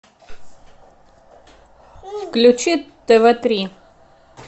включи тв три